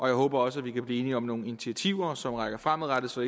jeg håber også at vi kan blive enige om nogle initiativer som rækker fremad så